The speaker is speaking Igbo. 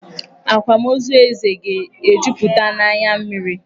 Akwamozu Eze ga-ejuputa n'anya mmiri.